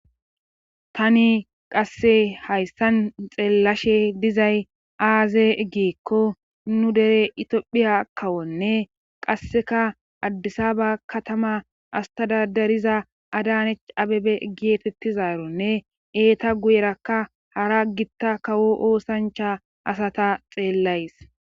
tani qasse hayssan xeellashe dizay aaze egiekko nu dere itphiya kawonne qasseka addisa ba katama astadadariza adanech abebe giyetettizaaronne eeta guyerakka hara gitta kawo oosancha asata xeellays